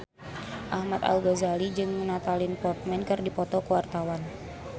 Ahmad Al-Ghazali jeung Natalie Portman keur dipoto ku wartawan